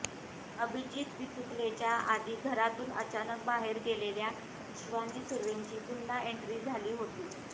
अभिजीत बिचुकलेच्या आधी घरातून अचानक बाहेर गेलेल्या शिवानी सुर्वेची पुन्हा एंट्री झाली होती